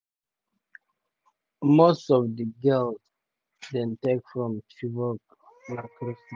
most of di girls dem take from chibok school na christian.